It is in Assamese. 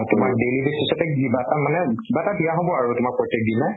তোমাক daily basis তে কিবা এটা মানে কিবা এটা দিয়া হব আৰু তোমাক প্ৰত্য়েক দিনাই